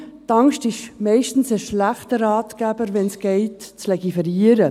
Nun, die Angst ist meist ein schlechter Ratgeber, wenn es darum geht, zu legiferieren.